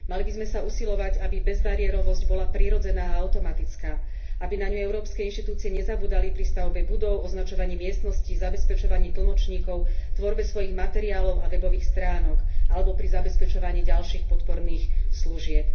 Mali by sme sa usilovať, aby bezbariérovosť bola prirodzená a automatická, aby na ňu európske inštitúcie nezabúdali pri stavbe budov, označovaní miestností, zabezpečovaní tlmočníkov, tvorbe svojich materiálov a webových stránok alebo pri zabezpečovaní ďalších podporných služieb.